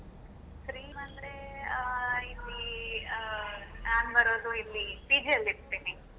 Free ಅಂದ್ರೆ ಆ ಇಲ್ಲಿ ಆ ನಾನ್ ಬರೋದು ಇಲ್ಲಿ PG ಅಲ್ಲಿ ಇರ್ತೇನೆ.